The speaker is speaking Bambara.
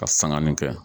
Ka sanganin kɛ